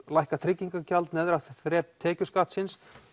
lækka tryggingagjald lægra þrep tekjuskattsins